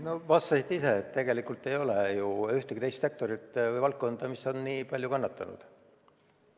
Te vastasite juba ise, et tegelikult ei ole ühtegi teist sektorit ega valdkonda, mis oleks nii palju kannatanud.